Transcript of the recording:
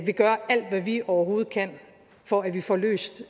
vi gør alt hvad vi overhovedet kan for at vi får løst